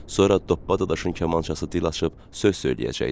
Sonra toppadaşın kamançası dil açıb söz söyləyəcəkdi.